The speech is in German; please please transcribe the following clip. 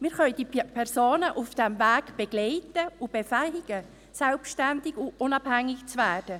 Wir können die Personen auf diesem Weg begleiten und sie befähigen, selbstständig und unabhängig zu werden.